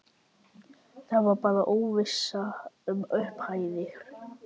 Það var bara óvissa um upphæðir?